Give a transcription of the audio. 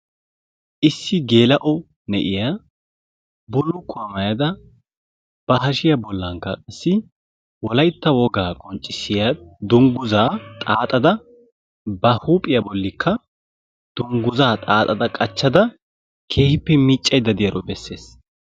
issi geela'o na'iyaa bulukkuwaa maayada ba hashshiyaa bolanikka qassi wolaytta wogaa qonccisiyaa dunguzzaa xaaxada ba huuphiyaa bolikka dunguzzaa xaaxxada qaachada keehippe miicayidda diyaaro beeses.